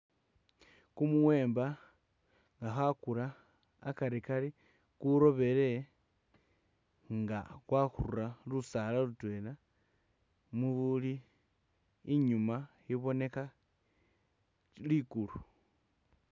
Kumuwemba nga bakula akarikari kurobele nga kwakhura lusaala lutwela mubuli inyuma iboneka ligulu